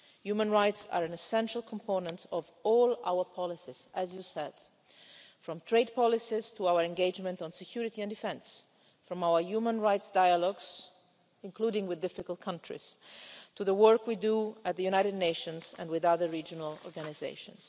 Human rights are an essential component of all our policies, as you said from trade policies to our engagement on security and defence, from our human rights dialogues including with difficult countries, to the work we do at the United Nations and with other regional organisations.